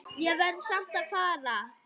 Ég verð samt að fara